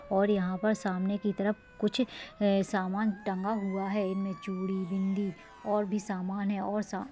और यहाँ पर सामने की तरफ कुछ अ-सामान टंगा हुआ है इन में चूड़ी बिंदी और भी सामान है और सा --